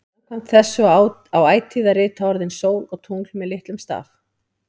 Samkvæmt þessu á ætíð að rita orðin sól og tungl með litlum staf.